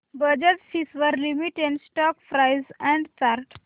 Bajaj Finserv limited stock price and chart